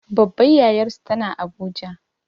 Babbar yayarsu tana abuja